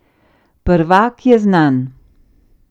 Prvak je znan.